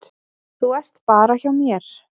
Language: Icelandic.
Þú ert bara hjá mér.